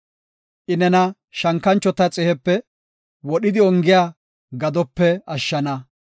I nena shankanchota xihepe, wodhidi ongiya gadope ashshana.